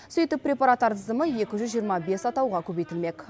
сөйтіп препараттар тізімі екі жүз жиырма бес атауға көбейтілмек